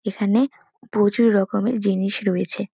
এখানে প্রচুর রকমের জিনিস রয়েছে।